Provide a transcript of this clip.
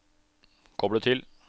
koble til